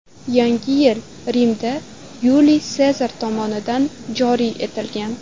Yangi yil Rimda Yuliy Sezar tomonidan joriy etilgan.